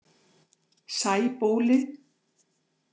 Sæbóli